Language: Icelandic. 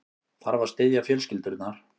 Þarf að styðja fjölskyldurnar